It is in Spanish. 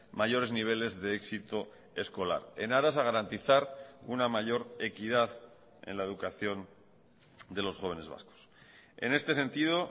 mayores niveles de éxito escolar en aras a garantizar una mayor equidad en la educación de los jóvenes vascos en este sentido